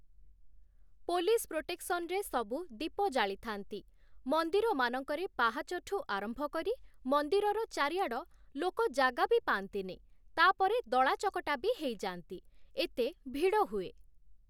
Police ପ୍ରୋଟେକ୍ସନରେ ସବୁ ଦୀପ ଜାଳିଥାନ୍ତି । ମନ୍ଦିରମାନଙ୍କରେ ପାହାଚଠୁ ଆରମ୍ଭ କରି ମନ୍ଦିରର ଚାରିଆଡ଼ ଲୋକ ଜାଗା ବି ପାଆନ୍ତିନି, ତା'ପରେ ଦଳା ଚକଟା ବି ହେଇଯାନ୍ତି, ଏତେ ଭିଡ଼ ହୁଏ ।